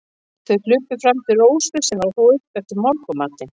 Þeir hlupu fram til Rósu, sem var að þvo upp eftir morgunmatinn.